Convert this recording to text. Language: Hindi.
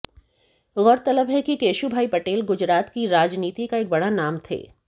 गौरतलब है कि केशुभाई पटेल गुजरात की राजनीति का एक बड़ा नाम थे